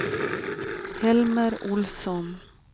Helmer Olsson